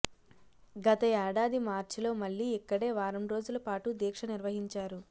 గత ఏడాది మార్చిలో మళ్లీ ఇక్కడే వారం రోజుల పాటు దీక్ష నిర్వహించారు